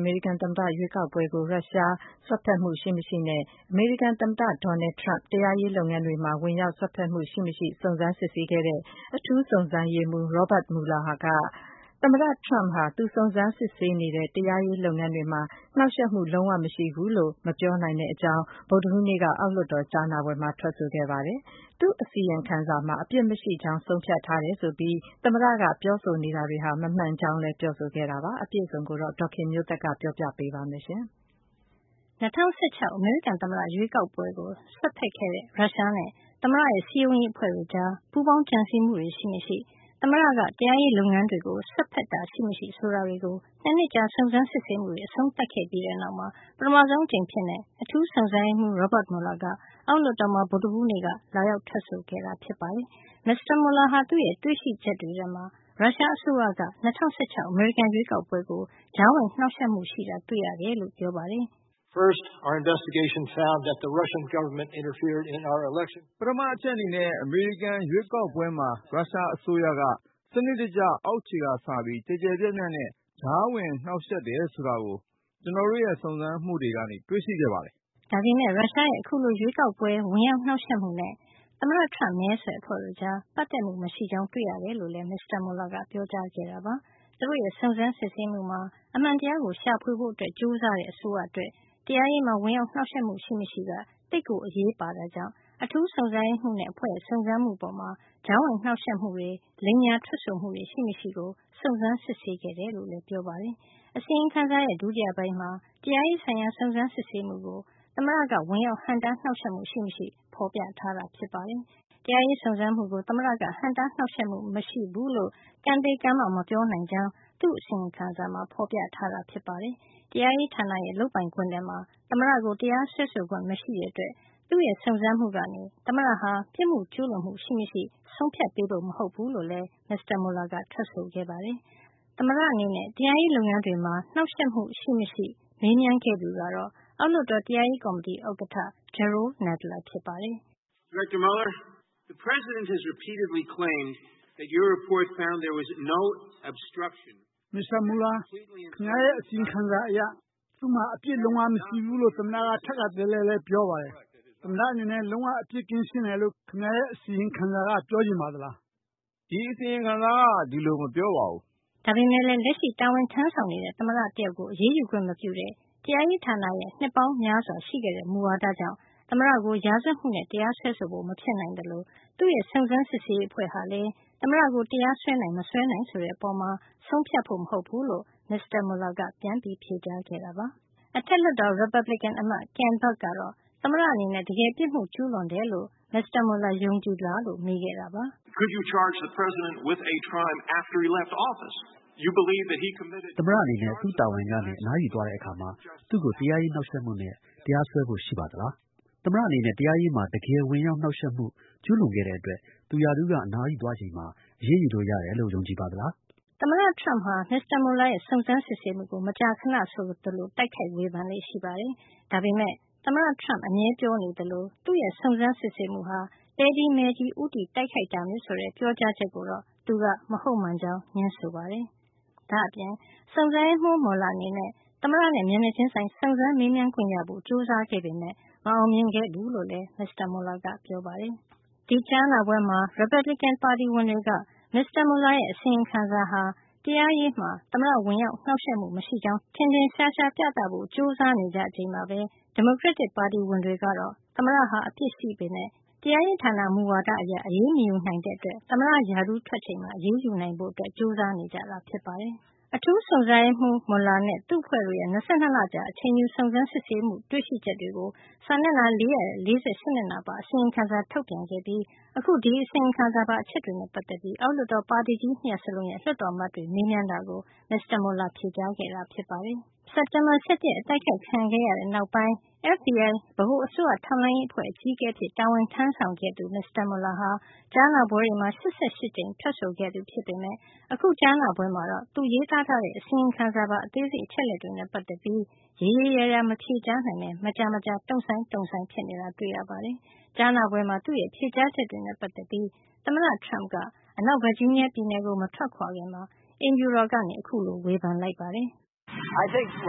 အမေရိကန် သမ္မတ ရွေးကောက်ပွဲကို ရုရှားစွက်ဖက်မှုရှိမရှိနဲ့ အမေရိကန် သမ္မတ Donald Trump တရားရေးလုပ်ငန်းတွေမှာ ဝင်ရောက် စွက်ဖက်မှု ရှိမရှိ စုံစမ်းစစ်ဆေးခဲ့တဲ့ အထူးစုံစမ်းရေးမှုး Robert Mueller က သူစုံစမ်းစစ် ဆေးတဲ့ တရားရေးလုပ်ငန်းတွေမှာ သမ္မတ Trump နှောက်ယှက်မှုလုံးဝ မရှိဘူးလို့ မပြောနိုင်ကြောင်း ဗုဒ္ဓဟူးနေ့က အောက်လွှတ်တော်ကြားနာပွဲမှာ ထွက်ဆိုခဲ့ပါတယ်။ သူ့အစီရင်ခံစာမှာ အပြစ်မရှိကြောင်း ဆုံးဖြတ်ထားတယ်ဆိုပြီး သမ္မတက ပြောဆိုနေတာဟာ မမှန်ကြောင်းလည်း ပြောဆိုခဲ့တာပါ။ အပြည့်အစုံကို ဒေါ်ခင်မျိုးသက်က ပြောပြပေးမှာပါ။ ၂၀၁၆ အမေရိကန် သမ္မတ ရွေးကောက်ပွဲကို စွက်ဖက်ခဲ့တဲ့ ရုရှားနဲ့ သမ္မတရဲ့ စည်းရုံးရေး အဖွဲ့တို့ကြား ပူးပေါင်းကြံစည်မှုတွေ ရှိမရှိ၊ သမ္မတက တရားရေးလုပ်ငန်းတွေကို စွက်ဖက်တာတွေ ရှိမရှိ ဆိုတာတွေကို ၂ နှစ်ကြာ စုံစမ်းစစ်ဆေးမှုတွေ အဆုံးသတ်ခဲ့ပြီးနောက် ပထမဆုံးအကြိမ်အဖြစ် အထူးစုံစမ်းရေးမှူး Robert Mueller က အောက်လွှတ်တော်မှာ ဗုဒ္ဓဟူးနေ့ လာရောက် ထွက်ဆိုခဲ့တာ ဖြစ်ပါတယ်။ မစ္စတာ Mueller က သူ့ရဲ့ တွေ့ရှိချက်တွေထဲမှာ ရုရှားအစိုးရက ၂၀၁၆ အမေရိကန်ရွေးကောက်ပွဲကို ကြားဝင်နှောက်ယှက်မှု ရှိတာ တွေ့ခဲ့ရကြောင်း ပြောကြားခဲ့ပါတယ်။ “ ပထမအချက်အနေနဲ့ အမေရိကန်ရွေးကောက်ပွဲမှာ ရုရှားအစိုးရက စံနစ်တကျ၊ အောက်ခြေကစပြီး ကျယ်ကျယ်ပြန့်ပြန့်နဲ့ ကြားဝင်နှောက်ယှက် တယ်ဆိုတာကို ကျနော်တို့ရဲ့ စုံစမ်းမှုကနေတွေ့ရှိခဲ့ပါတယ်။” ဒါပေမယ့် ရုရှားရဲ့ အခုလို ရွေးကောက်ပွဲဝင်ရောက် နှောက်ယှက်မှုနဲ့ သမ္မတ Trump မဲဆွယ်အဖွဲ့တို့ကြား ပတ်သက်မှု မရှိကြောင်း တွေ့ခဲ့ရတယ်လို့လည်း မစ္စတာ Mueller က ပြောကြားခဲ့တာပါ။ သူတို့ရဲ့ စုံစမ်းစစ်ဆေးမှုမှာ အမှန်တရားကို ရှာဖွေဖို့ ကြိုးစားတဲ့ အစိုးရအတွက် တရားရေးမှာ ဝင်ရောက်နှောက်ယှက်မှု ရှိမရှိက သိပ်ကိုအရေးပါတဲ့အတွက် အထူးစုံစမ်းရေးမှုးနဲ့ အဖွဲ့ရဲ့ စုံစမ်းမှုအပေါ် ကြားဝင်နှောက်ယှက်မှုတွေ လိမ်ညာထွက်ဆိုမှုတွေ ရှိမရှိ ကိုစုံစမ်းစစ်ဆေးခဲ့ကြောင်းလည်း ပြောပါတယ်။ အစီရင်ခံစာရဲ့ ဒုတိယပိုင်းမှာ တရားရေးဆိုင်ရာ စုံစမ်းစစ်ဆေးမှုကို သမ္မတက ဝင်ရောက်ဟန့်တားနှောက်ယှက်မှု ရှိမရှိ ဖေါ်ပြထားတာ ဖြစ်ပါတယ်။ တရားရေးစုံစမ်းမှုကို သမ္မတက ဟန့်တာနှောက်ယှက်မှု မရှိဘူးလို့ ကံသေကံမ မပြောနိုင်ကြောင်း သူ့အစီရင်ခံစာမှာ ဖေါ်ပြထားတာပါ။ တရားရေးဌာနရဲ့ လုပ်ပိုင်ခွင့်ထဲမှာ သမ္မတကို တရားစွဲဆိုခွင့်မရှိတာကြောင့် သူ့စုံစမ်းမှုကနေ သမ္မတက ပြစ်မှုကျူးလွန်မှု ရှိမရှိ ဆုံးဖြတ်ပေးဖို့ မဟုတ်ဘူး လို့လည်း မစ္စတာ Mueller က ထွက်ဆိုခဲ့ပါတယ်။ သမ္မတအနေနဲ့ တရားရေးလုပ်ငန်းတွေမှာ နှောက်ယှက်မှု လုံးဝရှိမရှိ မေးမြန်းခဲ့သူကတော့ အောက်လွှတ်တော် တရားရေးကော်မတီဥက္ကဌ Jerrold Nadler ဖြစ်ပါတယ်။ “မစ္စတာ Mueller ခင်ဗျားရဲ့ အစီရင်ခံစာအရ သူ့မှာ အပြစ်လုံးဝမရှိဘူးလို့ သမ္မတက ထပ်တလဲလဲ ပြောပါတယ်။ သမ္မတအနေနဲ့ လုံးဝအပြစ် ကင်းရှင်းတယ်လို့ခင်ဗျားရဲ့ အစီရင်ခံစာက ပြောချင်ပါသလား။” “ အစီရင်ခံစာက ဒီလိုမပြောပါဘူး။” ဒါပေမဲ့လည်း လက်ရှိ တာဝန်ထမ်းဆောင်နေတဲ့ သမ္မတတယောက်ကို အရေးယူခွင့်မပြုတဲ့ တရားရေးဌာနရဲ့ နှစ်ပေါင်းများစွာ ရှိခဲ့တဲ့မူဝါဒကြောင့် သမ္မတကို ရာဇဝတ်မှုနဲ့ တရားစွဲဆိုဖို့မဖြစ်နိုင်သလို၊ သူ့ရဲ့ စုံစမ်းစစ်ဆေးရေး အဖွဲ့ဟာလည်း သမ္မတကို တရားစွဲနိုင်-မစွဲနိုင်ဆိုတဲ့အပေါ်မှာ ဆုံးဖြတ်ဖို့ မဟုတ်ဘူးလို့ မစ္စတာ Mueller က ပြန် ဖြေခဲ့ပါတယ်။ အောက်လွှတ်တော် ရီပတ်ဘလီကန် အမတ် Ken Buck ကတော့ သမ္မတအနေနဲ့ တကယ်ပြစ်မှု ကျူးလွန်တယ်လို့ မစ္စတာ Mueller ယုံကြည်သလားလို့ မေးခဲ့တာပါ။ “သမ္မတ အနေနဲ့ သူ့တာဝန်ကနေ အနားယူသွားတဲ့ အခါမှာ သူ့ကို တရားရေးနှောက်ယှက်မှုနဲ့ တရားစွဲဖို့ ရှိပါသလား။ သမ္မတအနေနဲ့ တရားရေးမှာ တကယ်ဝင်ရောက်နှောက်ယှက်မှု ကျူးလွန်ခဲ့တဲ့အတွက် သူရာထူးက အနားယူသွားချိန်မှာ အရေးယူလို့ ရတယ်လို့ ယုံကြည်ပါသလား။” “ ယုံကြည်ပါတယ်။” သမ္မတ Trump ဟာ မစ္စတာ Mueller ရဲ့ စုံစမ်းစစ်ဆေးမှုကို မကြာခဏဆိုသလို တိုက်ခိုက်ဝေဖန်လေ့ရှိပါတယ်။ ဒါပေမယ့် သမ္မ Trump အမြဲပြောနေသလို သူ့ရဲ့ စုံစမ်းစစ်ဆေးမှုဟာ သဲကြီးမဲကြီး ဦးတည် တိုက်ခိုက်နေတာမျိုး ဆိုတဲ့ ပြောကြားချက်ကိုတော့ သူက မဟုတ်မှန်ကြောင်း ငြင်းဆိုခဲ့ပါတယ်။ ဒါ့အပြင် စုံစမ်းရေးမူး Mueller အနေနဲ့ သမ္မတနဲ့ မျက်နှာချင်းဆိုင် စုံစမ်းမေးမြန်းခွင့်ရဖို့ ကြိုးစားခဲ့ပေမယ့် မအောင်မြင်ခဲ့ဘူးလို့လည်း ပြောပါတယ်။ ဒီကြားနာပွဲမှာ ရီပတ်ပလီကန် ပါတီဝင်တွေက မစ္စတာ Mueller ရဲ့ အစီရင်ခံစာဟာ တရားရေးမှာ သမ္မတ ကြားဝင်နှောက်ယှက်မှု မရှိကြောင်း ထင်ရှားအောင် ပြသဖို့ ကြိုးစားနေကြချိန်မှာပဲ ဒီမိုကရက်တစ် ပါတီဝင်တွေကတော့ သမ္မတဟာ အပြစ်ရှိပေမယ့် တရားရေးဌာန မူဝါဒအရ အရေးမယူနိုင်တဲ့အတွက် သမ္မတရာထူးက ထွက်သွားချိန်မှာ အရေးယူနိုင်ဖို့ ကြိုးစားနေကြတာပါ။ အထူးစုံစမ်းရေးမှုး Mueller နဲ့ သူ့အဖွဲ့တို့ရဲ့ ၂၂ လကြာ အချိန်ယူပြီး စုံစမ်းစစ်ဆေးမှု တွေ့ရှိချက်တွေကို စာမျက်နှာ ၄၄၈ မျက်နှာပါ အစီရင်ခံစာ ထုတ်ပြန်ခဲ့ပြီး အခု ဒီအစီရင်ခံစာပါ အချက်တွေနဲ့ ပတ်သက်ပြီး အောက်လွှတ်တော်မှာ ပါတီကြီး ၂ ရပ်စလုံးရဲ့ လွှတ်တော်အမတ်တွေက မေးမြန်းတာကို မစ္စတာ Mueller က ဖြေကြားခဲ့တာ ဖြစ်ပါတယ်။ အမေရိကန်ပြည်ထောင်စုမှာ စက်တင်ဘာ ၁၁ ရက် အတိုက်ခိုက်ခံခဲ့ရတဲ့ နောက်ပိုင်း FBI ဗဟိုအစိုးရထောက်လှမ်းရေး အကြီးအကဲ အဖြစ် တာဝန်ထမ်းဆောင်ခဲ့သူ မစ္စတာ Mueller ဟာ ကြားနာပွဲတွေမှာ ၈၈ ကြိမ်ထွက်ဆိုခဲ့သူ ဖြစ်ပေမယ့် အခု ကြားနာပွဲမှာတော့ သူရေးသားခဲ့တဲ့ အစီရင်ခံစာပါ အသေးစိတ် အချက်လက်တွေနဲ့ ပတ်သက်ပြီးတော့တောင် ရေရေရာရာ မဖြေကြားနိုင်ဘဲ မကြာမကြာ တုန့်ဆိုင်းဆိုင်း ဖြစ်နေတာ တွေ့ရပါတယ်။ ကြားနာပွဲမှာ သူ့ရဲ့ ဖြေကြားချက်တွေနဲ့ ပတ်သက်ပြီး သမ္မတ Trump က အနောက်ဗာဂျီးနီးယား ပြည်နယ်ကို မထွက်ခွါခင်မှာအိမ်ဖြူတော်ကနေ အခုလို ဝေဖန်လိုက်ပါတယ်။ “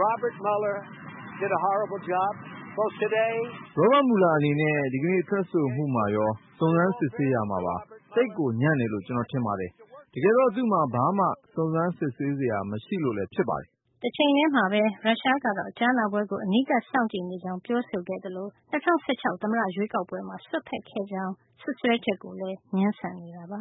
Robert Mueller အနေနဲ့ ဒီကနေ့ ထွက်ဆိုမှုမှာရော၊ စုံစမ်းစစ်ဆေးရာမှာပါ သိပ်ကို ညံ့တယ်လို့ ကျနော် ထင်ပါတယ်။ တကယ်တော့ သူ့မှာ ဘာမှ စုံစမ်း စစ်ဆေးစရာ မရှိလို့လည်း ဖြစ်ပါတယ်။” တချိန်တည်းမှာပဲ ရုရှားကတော့ ကြားနာပွဲကို အနီးကပ်စောင့်ကြည့်နေကြောင်း ပြောဆိုခဲ့သလို၊ ၂၀၁၆ သမ္မတရွေးကောက်ပွဲမှာ စွက်ဖက်ခဲ့ကြောင်း စွပ်စွဲချက်ကိုလည်း ငြင်းဆန်ခဲ့ပါ